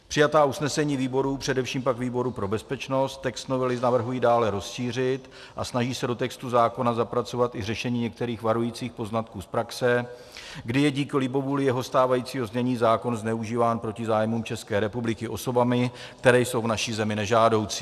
Přijatá usnesení výborů, především pak výboru pro bezpečnost, text novely navrhují dále rozšířit a snaží se do textu zákona zapracovat i řešení některých varujících poznatků z praxe, kdy je díky libovůli jeho stávajícího znění zákon zneužíván proti zájmům České republiky osobami, které jsou v naší zemi nežádoucí.